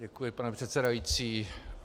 Děkuji, pane předsedající.